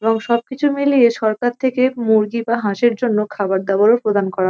এবং সবকিছু মিলিয়ে সরকার থেকে মুরগি বা হাঁসের জন্য খাবার দাবারও প্রদান করা--